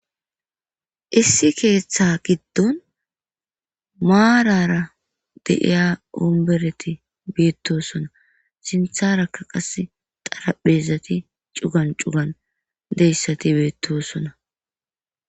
issi keeththa giddon maarara de'iya ombereti biittosona sintharakka qasi xaraphezati c'ugan c'ugan deyssati beettosona